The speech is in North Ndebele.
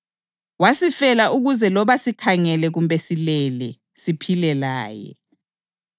Wasifela ukuze loba sikhangele kumbe silele, siphile laye.